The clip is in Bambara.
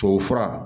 Tubabufura